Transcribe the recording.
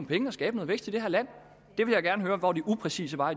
penge og skabe noget vækst i det her land jeg vil gerne høre hvor det upræcise var